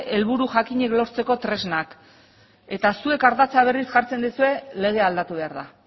helburu jakinak lortzeko tresnak eta zuek ardatza berriz jartzen duzue legea aldatu behar da